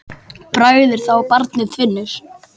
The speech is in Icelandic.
Bragð er að þá barnið finnur!